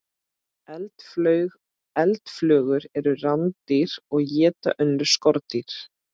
Eldflugur eru rándýr og éta önnur skordýr.